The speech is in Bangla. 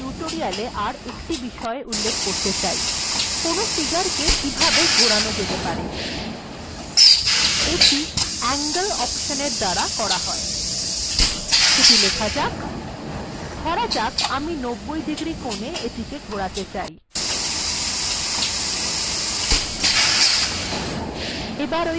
angle অপশন্এর দ্বারা এটি করা হয় সেটি লেখা যাক ধরা যাক আমি ৯০ ডিগ্রী কোনে এটিকে ঘোরাতে চাই